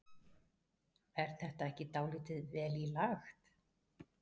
Er þetta ekki dálítið vel í lagt?